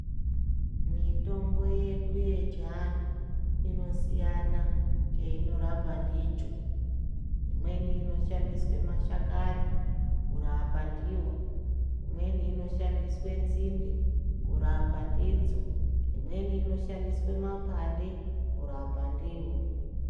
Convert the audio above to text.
Mitombo yedu yechiantu inosiyana cheinorapa ndicho. Imweni inoshandiswe mashakani kurapa ndiyo. Imweni inoshandiswe nzinde kurapa ndidzo. Imweni inoshandiswe mapande kurapa ndivo.